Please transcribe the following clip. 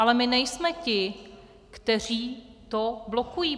Ale my nejsme ti, kteří to blokují.